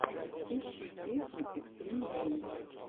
ищи песня экстрим геймз